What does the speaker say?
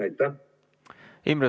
Aitäh!